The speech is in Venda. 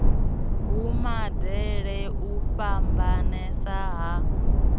ha modele u fhambanesa ha